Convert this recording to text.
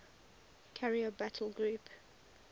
carrier battle group